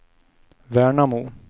Värnamo